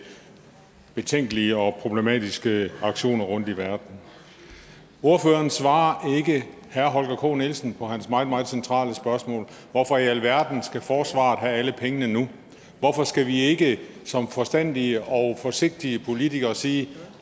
betænkelige og problematiske aktioner rundtom i verden ordføreren svarer ikke herre holger k nielsen på hans meget meget centrale spørgsmål hvorfor i alverden skal forsvaret have alle pengene nu hvorfor skal vi ikke som forstandige og forsigtige politikere sige at